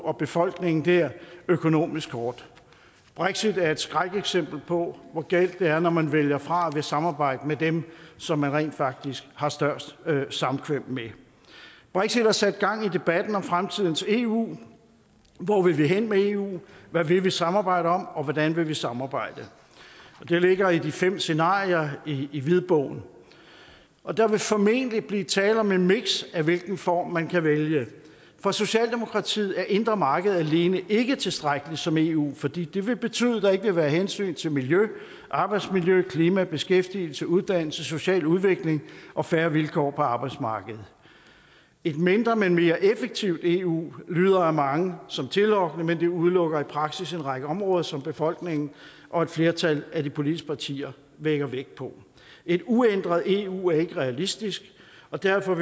og befolkningen dér økonomisk hårdt brexit er et skrækeksempel på hvor galt det er når man vælger fra at ville samarbejde med dem som man rent faktisk har størst samkvem med brexit har sat gang i debatten om fremtidens eu hvor vi vil hen med eu hvad vi vil samarbejde om og hvordan vi vil samarbejde det ligger i de fem scenarier i hvidbogen og der vil formentlig blive tale om et miks af hvilken form man kan vælge for socialdemokratiet er det indre marked alene ikke tilstrækkeligt som eu fordi det vil betyde at der ikke vil være hensyn til miljø arbejdsmiljø klima beskæftigelse uddannelse social udvikling og fair vilkår på arbejdsmarkedet et mindre men mere effektivt eu lyder for mange som tillokkende men det udelukker i praksis en række områder som befolkningen og et flertal af de politiske partier lægger vægt på et uændret eu er ikke realistisk og derfor